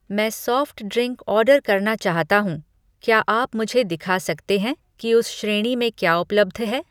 मैं soft drink order करना चाहता हूँ, क्या आप मुझे दिखा सकते हैं कि उस श्रेणी में क्या उपलब्ध है?